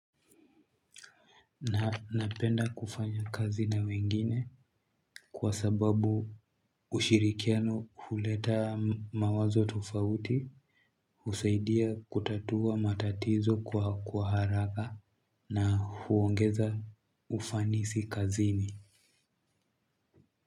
Na napenda kufanya kazi na wengine kwa sababu ushirikiano huleta mawazo tofauti, husaidia kutatua matatizo kwa haraka na huongeza ufanisi kazini.